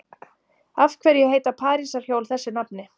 Af hverju heita parísarhjól þessu nafni?